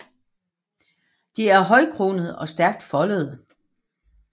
De er højkronede og stærkt foldede